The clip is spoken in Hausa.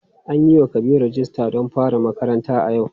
An yiwa Kabiru rijista don fara makaranta a yau.